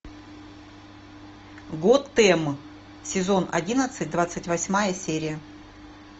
готэм сезон одиннадцать двадцать восьмая серия